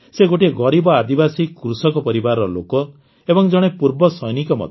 ସେ ଗୋଟିଏ ଗରିବ ଆଦିବାସୀ କୃଷକ ପରିବାରର ଲୋକ ଏବଂ ଜଣେ ପୂର୍ବସୈନିକ ମଧ୍ୟ